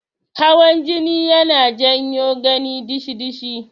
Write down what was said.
Hawan jini yana jawo gani dishi-dishi.